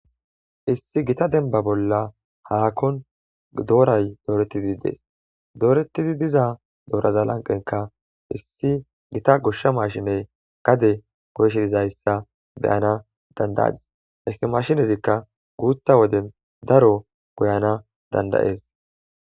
issi gita denba bolla haakon dooray dooretidi dees doorettidi diza dooraza lanqenka issi gita goshsha maashiney gade goyshe dizayssa beyana dandayadis isti mashinezikka guutha woden daro goyana dandayees